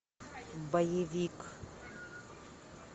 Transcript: боевик